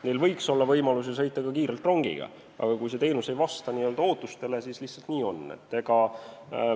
Neil võiks olla võimalus ju sõita ka kiirelt rongiga, aga kui see teenus ei vasta ootustele, siis lihtsalt nii on.